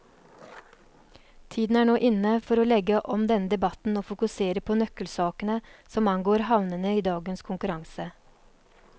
Tiden er nå inne for å legge om denne debatten og fokusere på nøkkelsakene som angår havnene i dagens konkurranse.